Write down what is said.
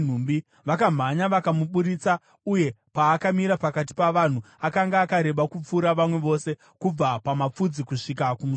Vakamhanya vakamuburitsa, uye paakamira pakati pavanhu, akanga akareba kupfuura vamwe vose kubva pamafudzi kusvika kumusoro.